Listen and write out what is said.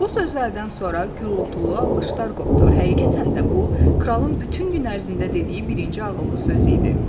Bu sözlərdən sonra gurultulu alqışlar qopdu, həqiqətən də bu, kralın bütün gün ərzində dediyi birinci ağıllı söz idi.